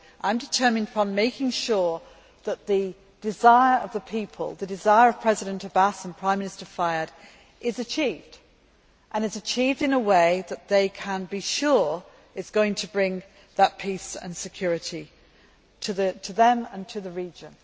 I am determined upon making sure that the desire of the people, the desire of President Abbas and Prime Minister Fayyad, is achieved and is achieved in a way that they can be sure is going to bring that peace and security to them and to the region.